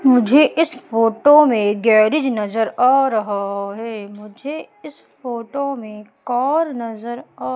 मुझे इस फोटो में गैरेज नजर आ रहा है मुझे इस फोटो में कार नजर आ --